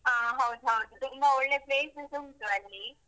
ಹ ಹೌದು ಹೌದು, ತುಂಬಾ ಒಳ್ಳೆ places ಉಂಟು ಅಲ್ಲಿ.